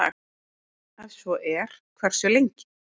Ef svo er, hversu lengi?